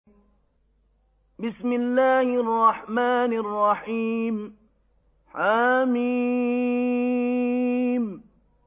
حم